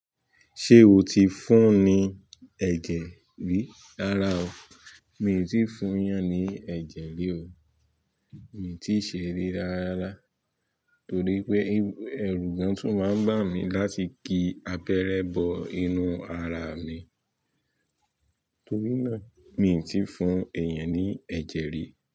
Ṣé o ti fún un ní ẹ̀jẹ̀ rí? Rara o. Mi ò tíì fún ẹyàn ní ẹ̀jẹ̀ rí o. Mi ti ṣe ri rárá ra torí pé ẹrù gan tún máa ń bà mí láti kí abẹrẹ bọ inú ara mi. Torí náà, mi ò tí fún èèyàn ní ẹ̀jẹ̀ rí.